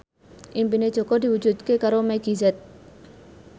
impine Jaka diwujudke karo Meggie Z